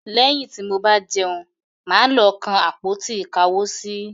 Lẹ́yìn tí mo bá jẹun, mà á lọ kan àpótí-ìkáwosí.